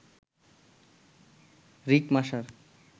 Rick Masar